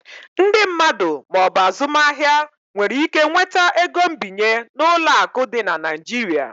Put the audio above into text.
Ndị mmadụ ma ọ bụ azụmaahịa nwere ike nweta ego nbinye n'ụlọ akụ dị na Nigeria.